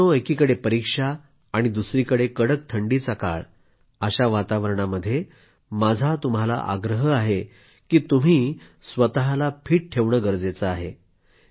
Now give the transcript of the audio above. मित्रांनो एकीकडे परीक्षा आणि दुसरीकडे कडक थंडीचा काळ अशा वातावरणामध्ये माझा तुम्हाला आग्रह आहे की तुम्ही स्वतःला फिट ठेवणं गरजेचं आहे